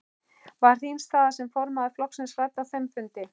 Var þín staða sem formaður flokksins rædd á þeim fundi?